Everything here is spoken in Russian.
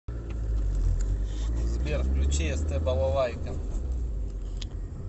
сбер включи эстэ балалайка